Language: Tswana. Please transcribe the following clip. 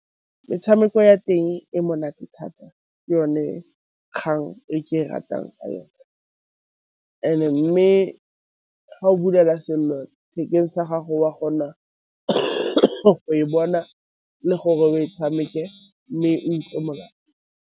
Metshameko ya teng e monate thata ke yone kgang e ke e ratang ka yone and-e mme ga o bulela sellathekeng sa gago wa kgona go e bona le gore o e tshameke mme monate.